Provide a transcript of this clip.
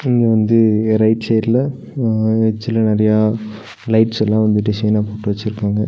இங்க வந்து ரைட் சைடுல அ எட்ஜுல நெறையா லைட்ஸ் எல்லா வந்து டிசைனா போட்டு வச்சுருக்காங்க.